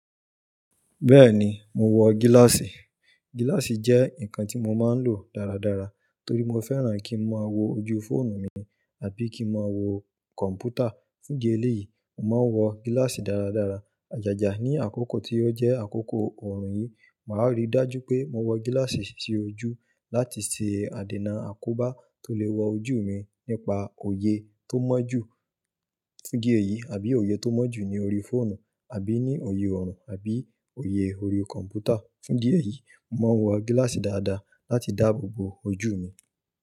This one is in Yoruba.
Bẹ́ẹ̀ni, mo wọ gíláàsì. Gíláàsì jẹ́ nǹkan tí mo máa ń lò dáradára torí mo fẹ́ràn kí n máa wo ojú fóònù mi àbí kí n máa wo kọ̀m̀pútà. Fún jí eléyìí, mo máa ń wọ gíláàsì dáradára. Àjàjà ní àkókò tí ó jẹ́ àkókò ọ̀rùn yìí, màá ríi dájú pé mo wọ gíláàsì sí ojú láti ṣe àdènà àkóbá tó lè wo ojú mi nípa òye tó mọ́ jù fún jí èyí àbí òye tó mọ́ jù ní orí fóònù àbí ní òye ọ̀ro àbí òye orí kọ̀m̀pútà. Fún jí èyí, mo máa ń wọ gíláàsì dáadáa láti dáàbò bo ojú mi.